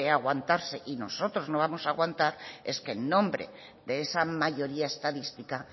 aguantarse y nosotros no vamos a aguantar es que en nombre de esa mayoría estadística